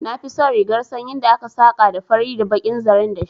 Na fi son rigar sanyin da aka saka da fari da bakin zaren dashi